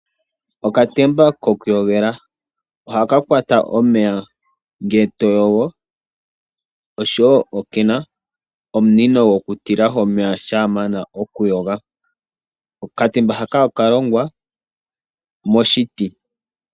Okatemba kokuyogela ohaka kwata omeya ngele to yogo oshowo okena omunino go kutilahi omeya shampa wa mana okuyoga. Okatemba haka okalongwa moshiti.